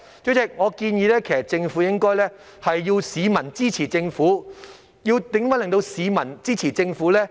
主席，我建議政府應該要市民支持政府。如何令市民支持政府呢？